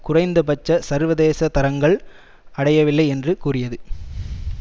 குறைந்த பட்ச சர்வதேச தரங்கள் அடையவில்லை என்று கூறியது